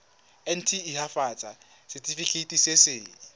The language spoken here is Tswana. nt hafatsa setefikeiti se se